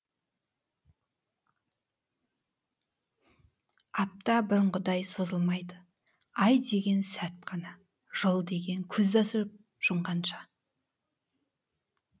апта бұрынғыдай созылмайды ай деген сәт қана жыл деген көзді ашып жұмғанша